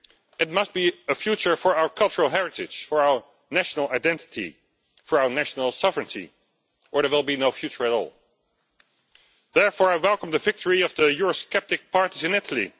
It must be a future for our cultural heritage, for our national identity, for our national sovereignty, or there will be no future at all. Therefore, I welcome the victory of the eurosceptic parties in Italy.